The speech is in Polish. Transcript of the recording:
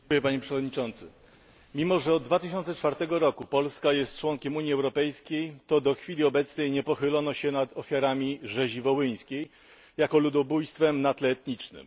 Panie Przewodniczący! Mimo że od 2004 roku Polska jest członkiem Unii Europejskiej, to do chwili obecnej nie pochylono się nad ofiarami rzezi wołyńskiej jako ludobójstwa na tle etnicznym.